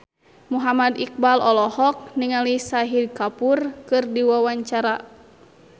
Muhammad Iqbal olohok ningali Shahid Kapoor keur diwawancara